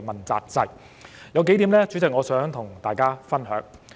主席，有數點我想跟大家分享。